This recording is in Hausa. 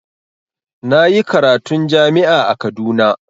Na yi karatun jami'a a Kaduna.